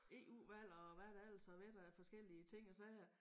EU valg og hvad der ellers har været af forskellige ting og sager